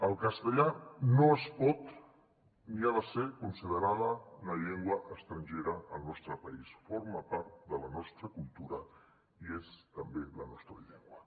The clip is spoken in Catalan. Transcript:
el castellà no es pot ni ha de ser considerat una llengua estrangera al nostre país forma part de la nostra cultura i és també la nostra llengua